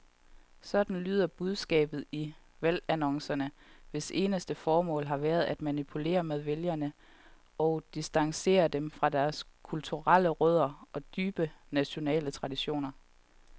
Sådan lyder budskabet i valgannoncerne, hvis eneste formål har været at manipulere med vælgere og distancere dem fra deres kulturelle rødder og dybe nationale traditioner.